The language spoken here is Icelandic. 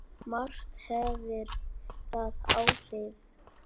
Margt hefur þar áhrif.